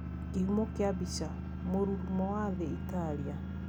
Kihumo kia mbica: Mũrũrumo wa thii Italia.